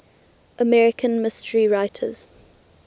american mystery writers